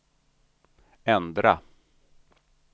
ändra